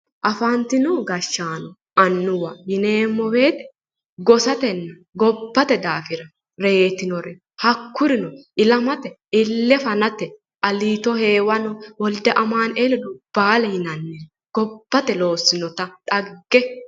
Afantinno gashaanonna annuwa yineemmo woyite gossatenna gobbate daafira yitte reeettinore hakurino ilamate ille fanate yite reettinori insano wolide amaanueell aliito heewano"oo yinannireetti